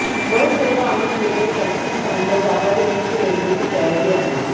बस सेवा आणि prepaid taxi स्टँडला जागा देण्याची रेल्वेची तयारी आहे